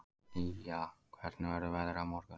Ýja, hvernig verður veðrið á morgun?